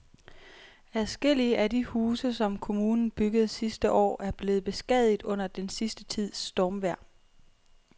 Adskillige af de huse, som kommunen byggede sidste år, er blevet beskadiget under den sidste tids stormvejr.